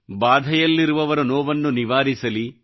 ಬಾಧೆಯಲ್ಲಿರುವವರ ನೋವನ್ನು ನಿವಾರಿಸಲಿ